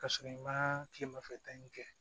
K'a sɔrɔ i ma kilemafɛta in kɛ